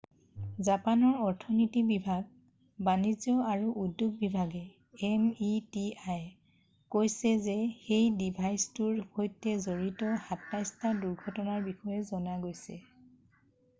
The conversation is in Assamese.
জাপানৰ অৰ্থনীতি বিভাগ বাণিজ্য আৰু উদ্যোগ বিভাগে meti কৈছে যে সেই ডিভাইচটোৰ সৈতে জড়িত ২৭টা দুৰ্ঘটনাৰ বিষয়ে জনা গৈছে।